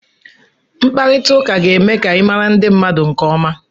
Mkparita ụka ga-eme ka ịmara ndị mmadụ nke ọma.